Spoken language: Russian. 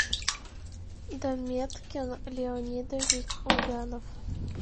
даметкин леонидович ульянов